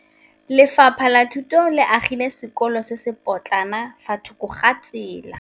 Lefapha la Thuto le agile sekôlô se se pôtlana fa thoko ga tsela.